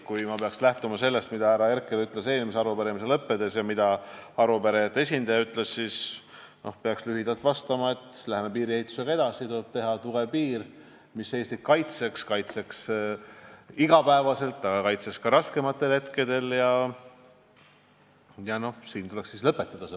Kui ma peaksin lähtuma sellest, mida ütles härra Herkel eelmise arupärimise lõppedes ja mida ütles arupärijate esindaja, siis peaksin lühidalt vastama, et me läheme piiriehitusega edasi, tuleb teha tugev piir, mis Eestit kaitseks, kaitseks iga päev ning kaitseks ka raskematel hetkedel, ja siis tuleks vastus lõpetada.